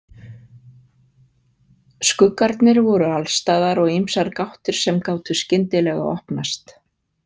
Skuggarnir voru alstaðar og ýmsar gáttir sem gátu skyndilega opnast.